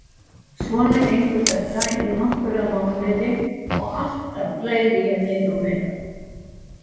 Svona gengur þetta í nokkra mánuði og alltaf læri ég meira og meira.